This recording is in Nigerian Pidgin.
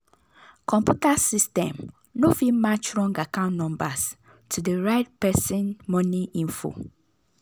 computer system no fit match wrong account numbers to the right person money info.